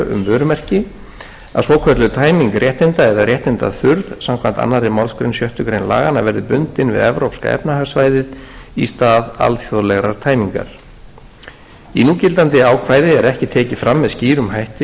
vörumerki að svokölluð tæming réttinda eða réttindaþurrð samkvæmt annarri málsgrein sjöttu grein laganna verði bundin við evrópska efnahagssvæðið í stað alþjóðlegrar tæmingar í núgildandi ákvæði er ekki tekið fram með skýrum hætti